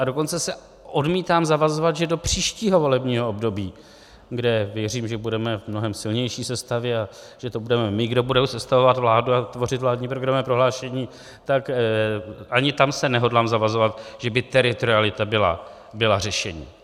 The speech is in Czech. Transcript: A dokonce se odmítám zavazovat, že do příštího volebního období, kde věřím, že budeme v mnohem silnější sestavě a že to budeme my, kdo bude sestavovat vládu a tvořit vládní programy a prohlášení, tak ani tam se nehodlám zavazovat, že by teritorialita byla řešení.